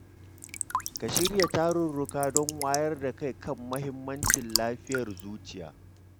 Ka shirya tarurruka don wayar da kai kan mahimmancin lafiyar zuciya.